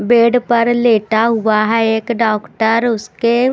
bed पर लेटा हुआ है एक डॉक्टर उसके--